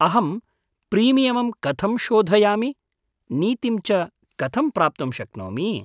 अहं प्रीमियमं कथं शोधयामि, नीतिं च कथं प्राप्तं शक्नोमि?